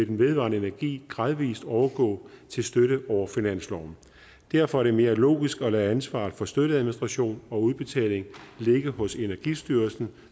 den vedvarende energi gradvis overgå til støtte over finansloven derfor er det mere logisk at lade ansvaret for støtteadministration og udbetaling ligge hos energistyrelsen